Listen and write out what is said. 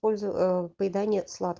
пользов ээ поедание сладк